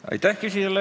Aitäh!